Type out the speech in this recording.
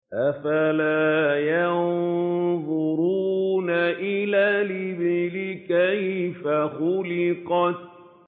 أَفَلَا يَنظُرُونَ إِلَى الْإِبِلِ كَيْفَ خُلِقَتْ